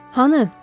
Hanı?